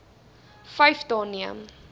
vyf dae neem